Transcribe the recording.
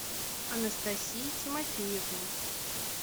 анастасии тимофеевны